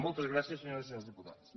moltes gràcies senyores i senyors diputats